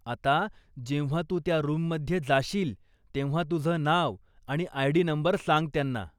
आता, जेव्हा तू त्या रूममध्ये जाशील तेव्हा तुझं नाव आणि आय.डी. नंबर सांग त्यांना.